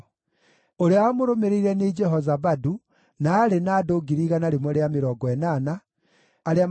ũrĩa wamũrũmĩrĩire nĩ Jehozabadu, na aarĩ na andũ 180,000 arĩa maarĩ na indo cia mbaara.